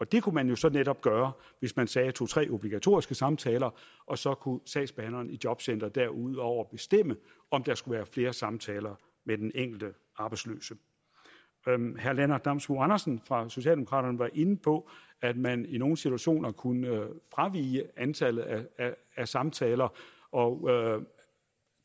det kunne man jo så netop gøre hvis man sagde to tre obligatoriske samtaler og så kunne sagsbehandleren i jobcenteret derudover bestemme om der skulle være flere samtaler med den enkelte arbejdsløse herre lennart damsbo andersen fra socialdemokraterne var inde på at man i nogle situationer kunne fravige antallet af af samtaler og